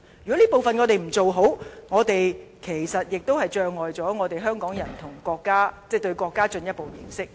如果我們不做好這方面的工作，其實亦都阻礙了香港人進一步認識國家。